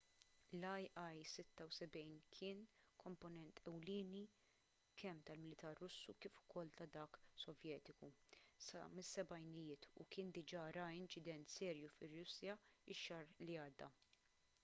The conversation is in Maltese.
l-il-76 kien komponent ewlieni kemm tal-militar russu kif ukoll ta’ dak sovjetiku sa mis-sebgħinijiet u kien diġà ra inċident serju fir-russja x-xahar li għadda